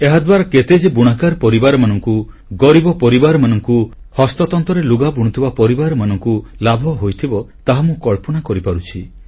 ଏହାଦ୍ୱାରା କେତେ ଯେ ବୁଣାକାର ପରିବାରମାନଙ୍କୁ ଗରିବ ପରିବାରମାନଙ୍କୁ ହସ୍ତତନ୍ତରେ ଲୁଗା ବୁଣୁଥିବା ପରିବାରମାନଙ୍କୁ ଲାଭ ହୋଇଥିବ ତାହା ମୁଁ କଳ୍ପନା କରିପାରୁଛି